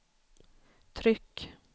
tryck